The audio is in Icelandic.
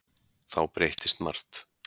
Þá breyttist margt.